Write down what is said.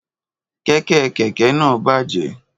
Kẹ̀kẹ́ kẹ̀kẹ́ náà bàjẹ́